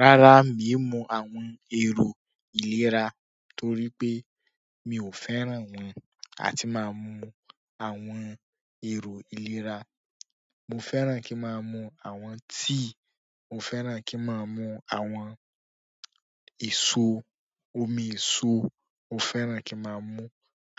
Rárá, miì í mu àwọn èrò ìlera torí pé mi ò fẹ́ràn wọn àti máa mu àwọn èrò ìlera. Mo fẹ́ràn kí n máa mú àwọn tíì, mo fẹ́ràn kí n máa mu àwọn èso, omi èso. Mo fẹ́ràn kí n máa mu-ún.